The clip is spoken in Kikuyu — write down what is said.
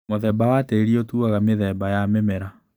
Mũthemba wa tĩri ũtuaga mĩthemba ya mĩmera.